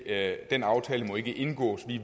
at den aftale må ikke indgås